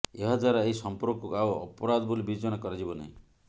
ଏହାଦ୍ୱାରା ଏହି ସଂପର୍କକୁ ଆଉ ଅପରାଧ ବୋଲି ବିବେଚନା କରାଯିବ ନାହିଁ